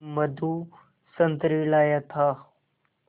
मधु संतरे लाया था